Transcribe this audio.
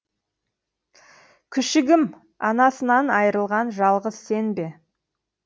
күшігім анасынан айырылған жалғыз сен бе